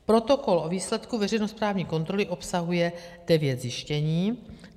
Protokol o výsledku veřejnosprávní kontroly obsahuje devět zjištění.